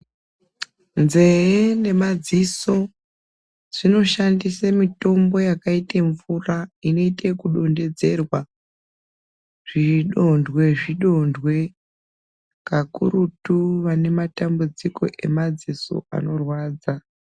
Nzee nemadziso zvinoshandise mitombo yakaite mvura inoite ekudongedzerwa zvidonhwe zvidonhwe kakurutu vane matambudziko emadziso anorwadza.